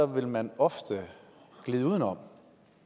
vil man ofte glide uden om